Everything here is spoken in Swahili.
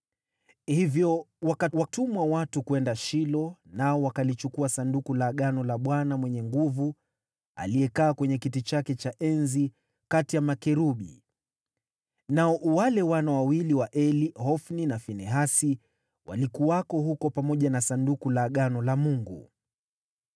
Hivyo wakawatuma watu huko Shilo, nao wakalichukua Sanduku la Agano la Bwana Mwenye Nguvu Zote, aliyekaa kwenye kiti chake cha enzi kati ya makerubi. Nao wale wana wawili wa Eli, Hofni na Finehasi, walikuwako huko pamoja na Sanduku la Agano la Mungu.